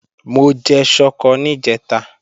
Mo jẹ ṣọkọ níjẹ̀ta